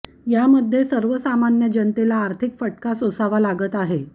यामध्ये सर्वसामान्य जनतेला आर्थिक फटका सोसावा लागत आहे